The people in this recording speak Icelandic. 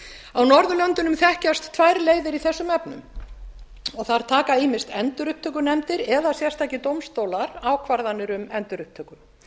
á norðurlöndunum þekkjast tvær leiðir í þessum efnum og þar taka ýmist endurupptökunefndir eða sérstakir dómstólar ákvarðanir um endurupptöku